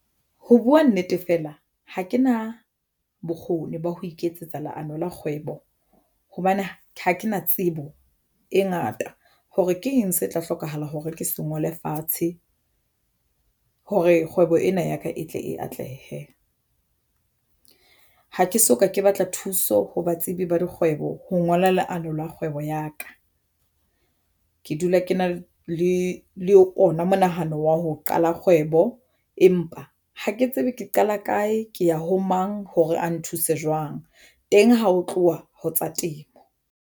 Ho buwa nnete fela ha ke na bokgoni ba ho iketsetsa leano la kgwebo hobane ha ke na tsebo e ngata hore ke eng se tla hlokahala hore ke se ngole fatshe hore kgwebo ena ya ka e tle e atlehe. Ha ke soka ke batla thuso ho batsebi ba kgwebo ho ngola leano la kgwebo ya ka. Ke dula ke na le ona monahano wa ho qala kgwebo, empa ha ke tsebe ke qala kae ke ya ho mang hore a nthuse jwang teng ha ho tluwa ho tsa temo.